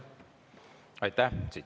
Aitäh!